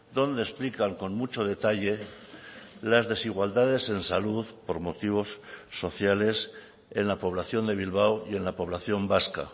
donde explican con mucho detalle las desigualdades en salud por motivos sociales en la población de bilbao y en la población vasca